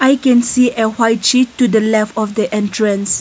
we can see a white sheet to the left of the entrance.